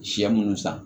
Sɛ minnu san